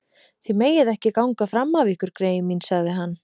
Þið megið ekki ganga fram af ykkur greyin mín sagði hann.